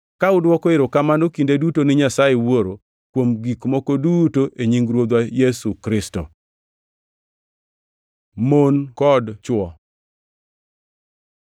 ka udwoko erokamano kinde duto ni Nyasaye Wuoro kuom gik moko duto e nying Ruodhwa Yesu Kristo. Mon kod chwo